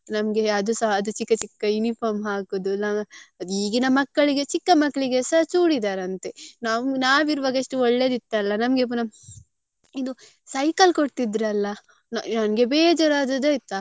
ನಮ್ಗೆ ಅದುಸ ಅದು ಚಿಕ್ಕ ಚಿಕ್ಕ uniform ಹಾಕುದು ಅದು ಈಗಿನ ಮಕ್ಕ್ಳಿಗೆ ಚಿಕ್ಕ ಮಕ್ಕ್ಳಿಗೆಸ ಚೂಡಿದಾರ್ ಅಂತೆ ನಾವ್ ಇರುವಾಗ ಒಳ್ಳೇದಿತ್ತಲ್ಲ ನಮ್ಗೆ ಪುನಾ ಇದು cycle ಕೊಡ್ತಿದ್ರಲ್ಲಾ ನಂಗೆ ಬೇಜಾರ್ ಆದದ್ದು ಆಯ್ತಾ.